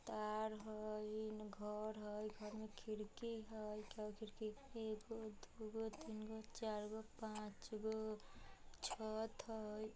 तार हई ईन घर हई घर में खिड़की हई कईगो खिड़की एकगो दोगो तीनगो चारगो पांचगो छत हई ।